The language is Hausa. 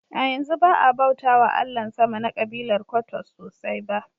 A yanzu ba a bauta wa Allahn sama na kabilar Kwottos sosai ba.